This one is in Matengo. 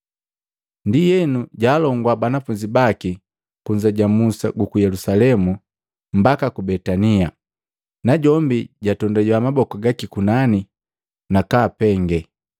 Ndienu jaalongua banafunzi baki kunza ja musi guku Yelusalemu mbaka ku Betania, najombi jatondabiya maboku gaki kunani, nakaapenge.